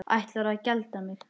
Ætlarðu að gelda mig?